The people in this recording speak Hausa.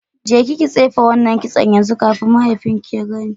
Jeki ki tsife wannan kitson yanzu kafin mahaifinki ya gani.